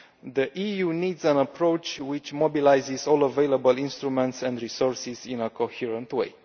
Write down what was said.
The EU needs an approach which mobilises all available instruments and resources in a coherent way.